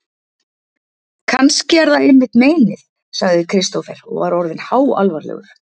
Kannski er það einmitt meinið, sagði Kristófer og var orðinn háalvarlegur.